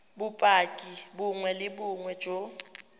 bopaki bongwe le bongwe jo